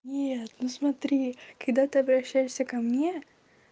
нет ну смотри когда ты обращаешься ко мне